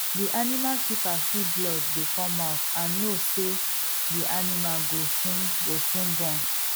the animal keeper see blood dey come out and know say the animal go soon go soon born